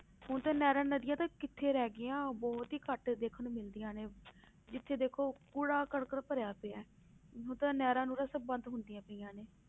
ਹੁਣ ਤੇ ਨਹਿਰਾਂ ਨਦੀਆਂ ਤੇ ਕਿੱਥੇ ਰਹਿ ਗਈਆਂ ਬਹੁਤ ਹੀ ਘੱਟ ਦੇਖਣ ਨੂੰ ਮਿਲਦੀਆਂ ਨੇ ਜਿੱਥੇ ਦੇਖੋ ਕੂੜਾ ਕਰਕਟ ਭਰਿਆ ਪਿਆ ਹੈ, ਹੁਣ ਤਾਂ ਨਹਰਿਾਂ ਨੂਹਰਾਂ ਸਭ ਬੰਦ ਹੁੰਦੀਆਂ ਪਈਆਂ ਨੇ।